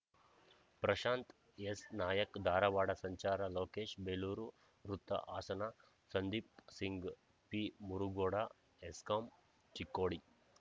ಪ್ರಶಾಂತ್‌ ಎಸ್‌ನಾಯಕ್‌ಧಾರವಾಡ ಸಂಚಾರ ಲೋಕೇಶ್‌ಬೇಲೂರು ವೃತ್ತ ಹಾಸನ ಸಂದೀಪ್‌ ಸಿಂಗ್‌ ಪಿಮುರುಗೋಡ ಹೆಸ್ಕಾಂ ಚಿಕ್ಕೋಡಿ